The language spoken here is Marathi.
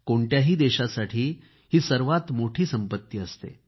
कोणत्याही देशासाठी ही सर्वात मोठी संपत्ती असते